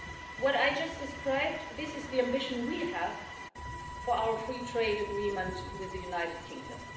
What I just described this is the ambition we have for our free trade agreement with the United Kingdom.